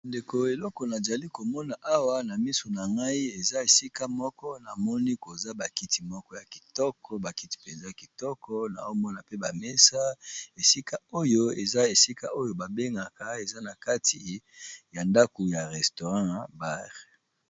Ndeko eleko na jali komona awa na misu na ngai eza esika moko na moni koza ba kiti moko ya kitoko ba kiti mpenza kitoko, nao mona pe ba mesa esika oyo eza esika oyo ba bengaka eza na kati ya ndaku ya restaurant bar.